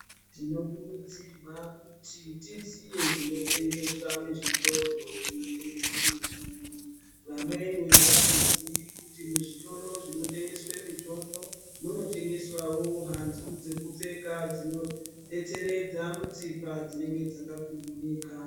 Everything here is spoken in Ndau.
Tino kurudzirwa kuti tiziye zvino tengeswa mu zvitoro zvino tengese mitombo vamweni avato ziyi kuti mu zvitoro zvino tengeswe mitombo muno tengeswawo hanzu dzeku pfeka dzino detseredza mutsipa dzinenge dzaka kuunika.